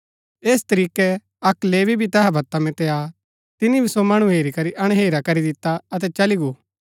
ऐस तरीकै अक्क लेवी तैहा वता मितै आ तिनी भी सो मणु हेरी करी अणहेरा करी दिता अतै चली गो